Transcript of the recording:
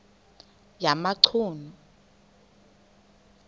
yamachunu